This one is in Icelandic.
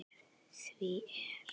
Því er